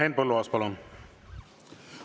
Henn Põlluaas, palun!